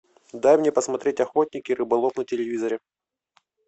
дай мне посмотреть охотник и рыболов на телевизоре